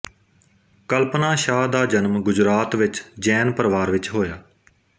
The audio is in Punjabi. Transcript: ਕਲਪਨਾ ਸ਼ਾਹ ਦਾ ਜਨਮ ਗੁਜਰਾਤ ਵਿੱਚ ਜੈਨ ਪਰਿਵਾਰ ਵਿੱਚ ਹੋਇਆ